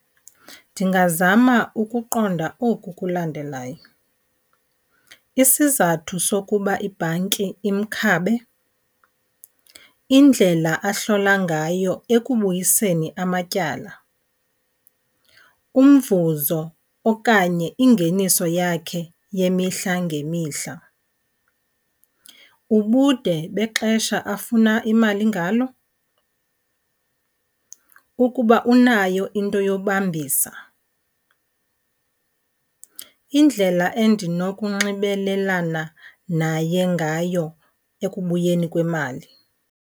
Ndingazama ukuqonda oku kulandelayo. Isizathu sokuba ibhanki imkhabe, indlela ahlola ngayo ekubuyiseni amatyala, umvuzo okanye ingeniso yakhe yemihla ngemihla, ubude bexesha afuna imali ngalo, ukuba unayo into yobambisa, indlela endinokunxibelelana naye ngayo ekubuyeni kwemali.